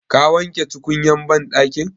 Ka wanke tukunyan banɗakin?